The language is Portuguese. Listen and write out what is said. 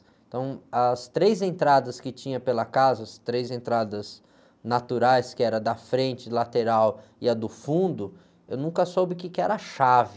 Então, as três entradas que tinha pela casa, as três entradas naturais, que era da frente, lateral e a do fundo, eu nunca soube o quê que era a chave.